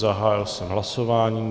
Zahájil jsem hlasování.